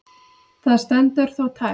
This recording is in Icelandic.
Það stendur þó tæpt.